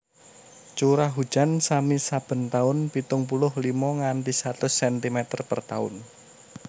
Curah hujan sami saben tahun pitung puluh limo nganti satus sentimeter per tahun